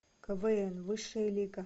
квн высшая лига